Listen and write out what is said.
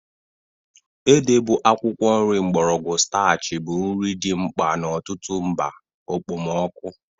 Ede bụ akwụkwọ nri mgbọrọgwụ starchy bụ nri dị mkpa n'ọtụtụ mba okpomọkụ.